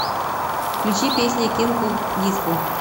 включи песня кинг оф диско